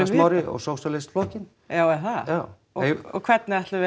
Smári og sósíalistaflokkurinn já er það já og hvernig ætlum við